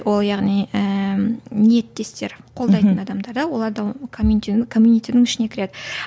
ол яғни ііі ниеттестер қолдайтын адамдар оларды ішіне кіреді